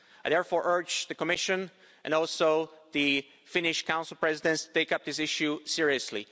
I therefore urge the Commission and also the Finnish Council Presidency to take up this issue seriously.